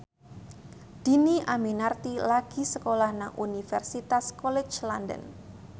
Dhini Aminarti lagi sekolah nang Universitas College London